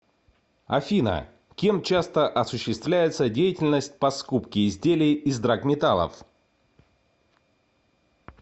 афина кем часто осуществляется деятельность по скупке изделий из драгметаллов